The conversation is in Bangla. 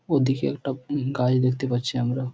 ওদিকে একটা উহ গাছ দেখতে পাচ্ছি আমরা।